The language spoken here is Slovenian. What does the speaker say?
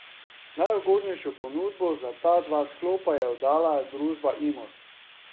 Najugodnejšo ponudbo za ta dva sklopa je oddala družba Imos.